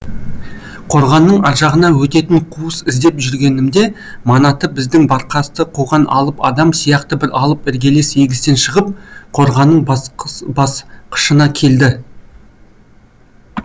қорғанның аржағына өтетін қуыс іздеп жүргенімде манаты біздің баркасты қуған алып адам сияқты бір алып іргелес егістен шығып қорғанның басқышына келді